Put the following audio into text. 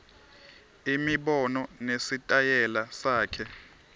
imibono nesitayela sakhe